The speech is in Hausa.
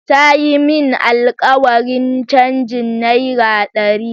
Ta yi min alkawarin changin naira dari.